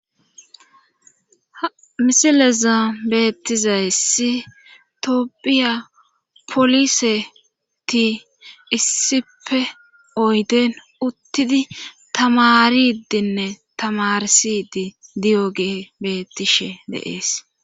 Misileza beettizayyssi toopphiya poliseti issipe oyden uttidi tamaridinne tamarsidi diyo gee beettishe deees.